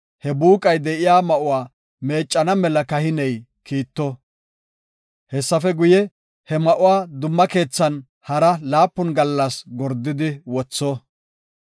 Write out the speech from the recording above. he buuqay de7iya ma7uwa meeccana mela kahiney kiitto. Hessafe guye, he ma7uwa dumma keethan hara laapun gallas gordidi wotho.